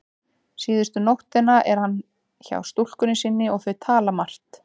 Síðustu nóttina er hann hjá stúlkunni sinni og þau tala margt.